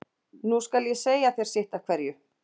Nú skal ég segja þér sitt af hverju.